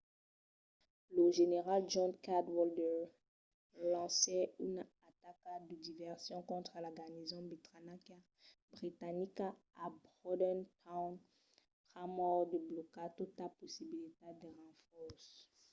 lo general john cadwalder lancèt una ataca de diversion contra la garnison britanica a bordentown pr’amor de blocar tota possibilitat de renfòrces